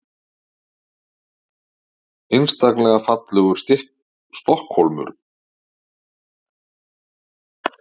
Einstaklega fallegur Stokkhólmur og svo vanmetinn.